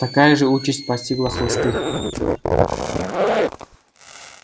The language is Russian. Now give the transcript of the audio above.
такая же участь постигла хлысты